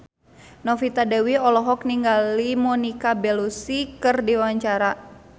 Novita Dewi olohok ningali Monica Belluci keur diwawancara